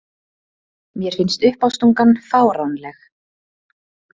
Mér finnst uppástungan fáránleg.